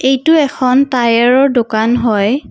ইটো এখন টায়াৰৰ দোকান হয়।